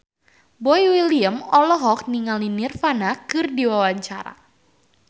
Boy William olohok ningali Nirvana keur diwawancara